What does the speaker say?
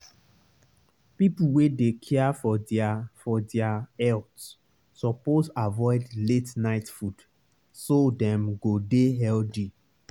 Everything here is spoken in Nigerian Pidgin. people wey dey care for their for their health suppose avoid late-night food so dem go dey healthy.